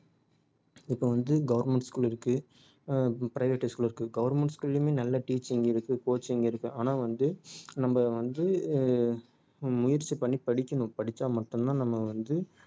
இப்ப வந்து government school இருக்கு அஹ் private high school இருக்கு government school லயுமே நல்ல teaching இருக்கு coaching இருக்கு ஆனா வந்து நம்ம வந்து ஆஹ் ஹம் முயற்சி பண்ணி படிக்கணும் படிச்சா மட்டும் தான் நம்ம வந்து